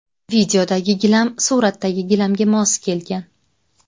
Videodagi gilam suratdagi gilamga mos kelgan.